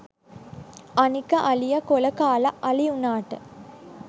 අනික අලිය කොල කාල අලි උනාට